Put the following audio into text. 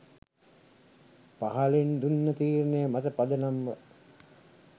පහලින් දුන්න තීරණය මත පදනම්ව